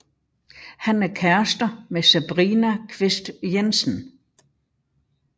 Han er kærester med Sabrina Kvist Jensen